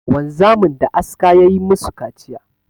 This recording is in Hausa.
Wanzamin da aska ya yi ma su kaciya.